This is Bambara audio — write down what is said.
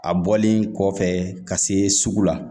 A bɔlen kɔfɛ ka se sugu la